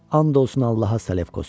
And olsun Allaha, Salefkos.